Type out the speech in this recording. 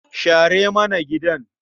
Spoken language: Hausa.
Share mana gidan.